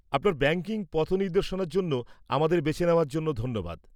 আপনার ব্যাঙ্কিং পথনির্দেশনার জন্য আমাদের বেছে নেওয়ার জন্য ধন্যবাদ।